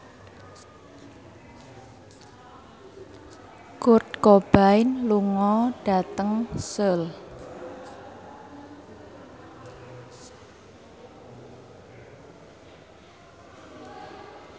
Kurt Cobain lunga dhateng Seoul